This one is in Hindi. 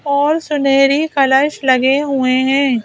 और सुनहरी कलश लगे हुए हैं।